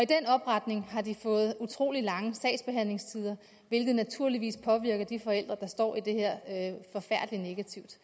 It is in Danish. genopretning har de fået utrolig lange sagsbehandlingstider hvilket naturligvis påvirker de forældre der står i det her forfærdelig negativt